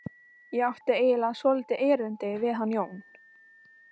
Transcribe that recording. Ég átti eiginlega svolítið erindi við hann Jón.